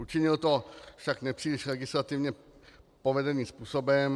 Učinil to však nepříliš legislativně povedeným způsobem.